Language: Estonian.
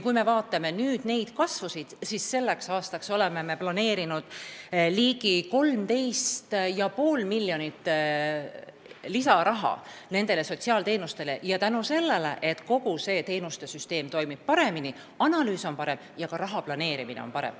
Kui me vaatame nüüd neid kasvusid, siis selleks aastaks oleme planeerinud ligi 13,5 miljonit eurot lisaraha sotsiaalteenuste osutamiseks ja seda tänu sellele, et kogu teenuste süsteem toimib paremini, analüüs on parem ja ka raha planeerimine on parem.